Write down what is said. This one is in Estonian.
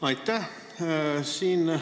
Aitäh!